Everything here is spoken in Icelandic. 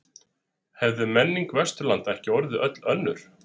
Hefði menning Vesturlanda ekki orðið öll önnur?